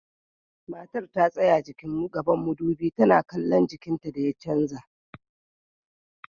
Matar ta tsaya gaban madubi tana kallon jikinta da ya canza.